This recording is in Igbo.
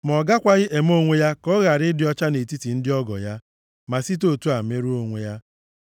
Ma ọ gakwaghị eme onwe ya ka ọ ghara ịdị ọcha nʼetiti ndị ọgọ ya, ma site otu a merụọ onwe ya.